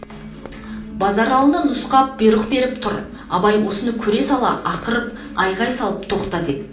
базаралыны нұсқап бұйрық беріп тұр абай осыны көре сала ақырып айғай салып тоқта деп